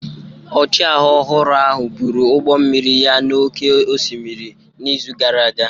Ọchịagha ọhụrụ ahụ buru ụgbọ mmiri ya n'oké osimiri n'izu gara aga.